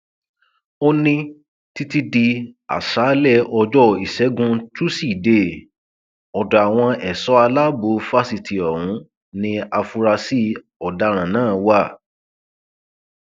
ó ní títí di aṣáálẹ ọjọ ìṣẹgun túṣídéé ọdọ àwọn ẹṣọ alábọ fásitì ọhún ni àfúrásì ọdaràn náà wà